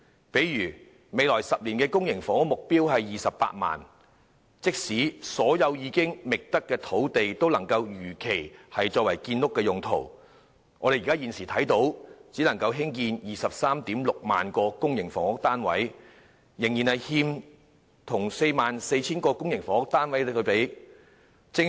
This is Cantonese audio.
例如，未來10年的公營房屋目標供應量是 280,000， 但即使所有已覓得的土地能如期作建屋用途，也只能建成 236,000 個公營房屋單位，尚欠興建 44,000 個公營房屋單位的土地。